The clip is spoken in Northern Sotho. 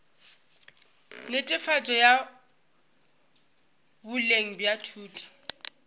netefatšo ya boleng bja thuto